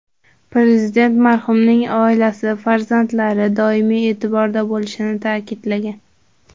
Prezident marhumning oilasi, farzandlari doimiy e’tiborda bo‘lishini ta’kidlagan.